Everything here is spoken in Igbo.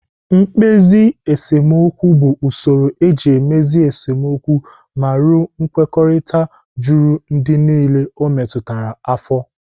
Mkpezi esemokwu bụ usoro eji emezi esemokwu ma ruo nkwekọrịta juru ndị niile o metụtara afọ.